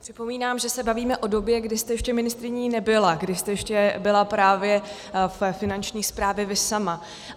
Připomínám, že se bavíme o době, kdy jste ještě ministryní nebyla, kdy jste ještě byla právě ve Finanční správě vy sama.